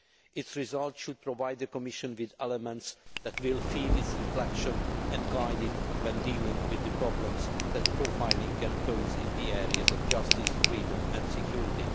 Its results should provide the Commission with elements that will feed its reflection and guide it when dealing with the problems that profiling can pose in the areas of justice, freedom and security.